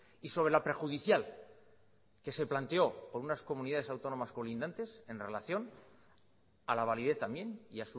y sobre la prejudicial que se planteó por unas comunidades colindantes en relación a la validez también y